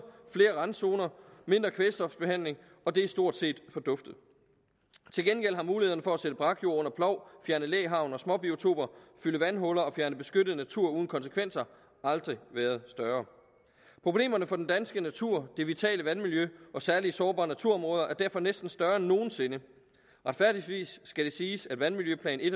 flere randzoner og mindre kvælstofbehandling og det er stort set forduftet til gengæld har mulighederne for at sælge brakjord under plov fjerne læhegn og småbiotoper fylde vandhuller og fjerne beskyttet natur uden konsekvenser aldrig været større problemerne for den danske natur det vitale vandmiljø og særlig sårbare naturområder er derfor næsten større end nogen sinde retfærdigvis skal det siges at vandmiljøplan i